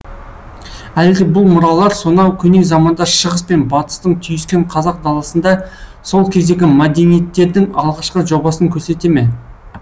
әлде бұл мұралар сонау көне заманда шығыс пен батыстың түйіскен қазақ даласында сол кездегі мәдениеттердің алғашқы жобасын көрсете ме